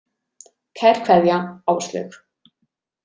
Kær kveðja, Áslaug.